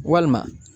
Walima